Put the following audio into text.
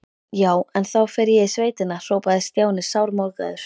Já, en þá fer ég í sveitina hrópaði Stjáni sármóðgaður.